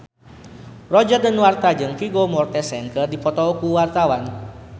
Roger Danuarta jeung Vigo Mortensen keur dipoto ku wartawan